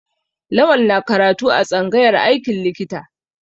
Lawal na karatu a tsangayar aikin likita.